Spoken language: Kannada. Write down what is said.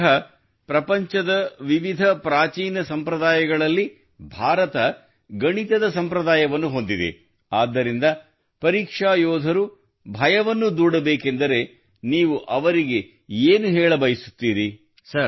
ಬಹುಶಃ ಪ್ರಪಂಚದ ವಿವಿಧ ಪ್ರಾಚೀನ ಸಂಪ್ರದಾಯಗಳಲ್ಲಿ ಭಾರತ ಗಣಿತದ ಸಂಪ್ರದಾಯವನ್ನು ಹೊಂದಿದೆ ಆದ್ದರಿಂದ ಪರೀಕ್ಷಾ ಯೋಧರು ಭಯವನ್ನು ದೂಡಬೇಕೆಂದರೆ ನೀವು ಅವರಿಗೆ ಏನು ಹೇಳಬಯಸುತ್ತೀರಿ